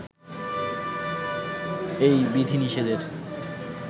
এই বিধি-নিষেধের